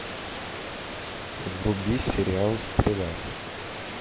вруби сериал стрела